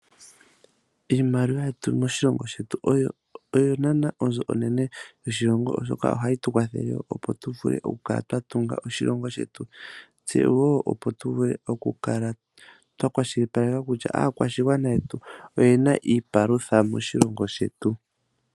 Iimaliwa yetu moshilongo shetu oyo nana onzo onene yoshilongo oshoka ohayi tu kwathele opo tu vule okukala twa tunga oshilongo shetu tse opo tu vule okukala twa kwashilipaleka kutya aakwashigwana yetu oyena iipalutha moshilongo shetu.